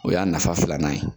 O y'a nafa filanan ye